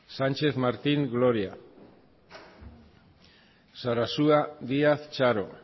sarasua díaz txaro sánchez martín gloria